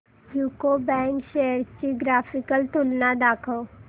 UCO bank shares ची graphical तुलना दाखव